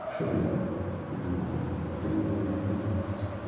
Puxa vida, fugiu o nome do hino tem no livrinho.